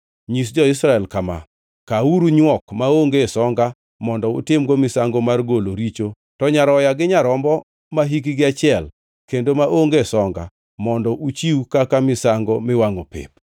Nyis jo-Israel kama: ‘Kawuru nywok maonge songa mondo utimgo misango mar golo richo, to nyaroya gi nyarombo mahikgi achiel kendo maonge songa mondo uchiw kaka misango miwangʼo pep.